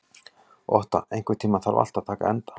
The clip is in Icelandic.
Otta, einhvern tímann þarf allt að taka enda.